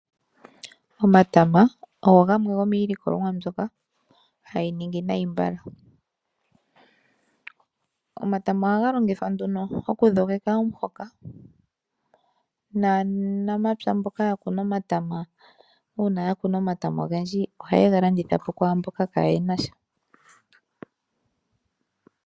Omatama ogo gamwe gomiilikolomwa mbyoka hayi ningi nayi mbala. Omatama ohaga longithwa okudhogeka omuhoka naanamapya mboka yakuna omatama, uuna yakuna ogendji ohayega landithapo kwaamboka kaayenasha.